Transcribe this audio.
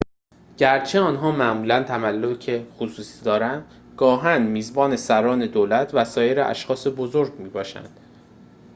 گرچه آنها معمولاً تملک خصوصی دارند گاهاً میزبان سران دولت و سایر اشخاص بزرگ می‌باشند